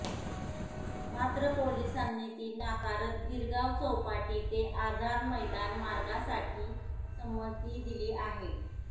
मात्र पोलिसांनी ती नाकारत गिरगाव चौपाटी ते आझाद मैदान मार्गासाठी संमती दिली आहे